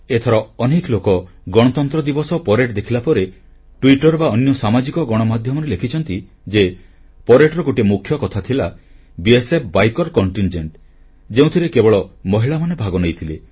ଏଥର ଅନେକ ଲୋକ ଗଣତନ୍ତ୍ର ଦିବସ ପରେଡ୍ ଦେଖିଲାପରେ ଟ୍ବିଟର ବା ଅନ୍ୟ ସାମାଜିକ ଗଣମାଧ୍ୟମରେ ଲେଖିଛନ୍ତି ଯେ ପରେଡ୍ ର ଗୋଟିଏ ମୁଖ୍ୟ କଥା ଥିଲା ସୀମା ସୁରକ୍ଷା ବଳର ବାଇକ କଣ୍ଟିନଜେଣ୍ଟ ଯେଉଁଥିରେ କେବଳ ମହିଳାମାନେ ଭାଗନେଇଥିଲେ